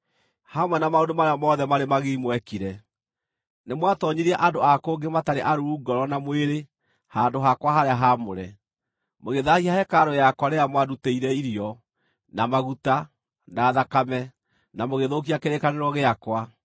Hamwe na maũndũ marĩa mothe marĩ magigi mwekire, nĩmwatoonyirie andũ a kũngĩ matarĩ aruu ngoro na mwĩrĩ handũ-hakwa-harĩa-haamũre, mũgĩthaahia hekarũ yakwa rĩrĩa mwandutĩire irio, na maguta, na thakame, na mũgĩthũkia kĩrĩkanĩro gĩakwa.